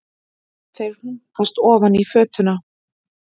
Þeir hlunkast ofan í fötuna.